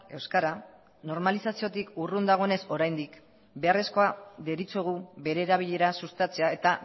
euskara normalizaziotik urrun dagoenez oraindik beharrezkoa deritzogu bere erabilera sustatzea eta